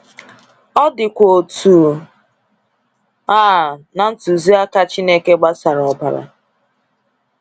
Ọ dịkwa otu a na ntụziaka Chineke gbasara ọbara.